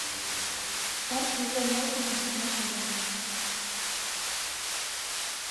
парки и зоны отдыха седьмой сезон